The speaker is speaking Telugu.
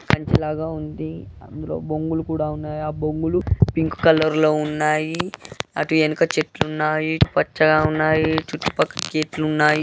ఇది కంచె లాగా ఉంది. అందులో బొంగులు కూడా ఉన్నాయి. ఆ బొంగులు పింక్ కలర్ లో ఉన్నాయి. అటు వెనక చెట్లు ఉన్నాయి పచ్చగా ఉన్నాయి. చుట్టూ పక్కల చెట్లు ఉన్నాయ్.